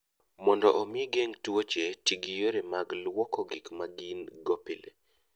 Mondo omi igeng' tuoche, ti gi yore mag lwoko gik ma gin - go pile.